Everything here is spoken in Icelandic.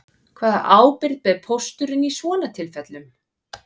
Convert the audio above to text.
Hvaða ábyrgð ber pósturinn í svona tilfellum